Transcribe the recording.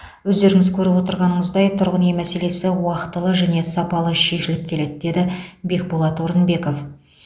өздеріңіз көріп отырғанымыздай тұрғын үй мәселесі уақытылы және сапалы шешіліп келеді деді бекболат орынбеков